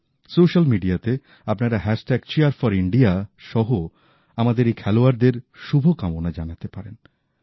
social মিডিয়াতে আপনারা hashtag cheer for India সহ আমাদের এই খেলোয়াড়োদের শুভকামনা জানাতে পারেন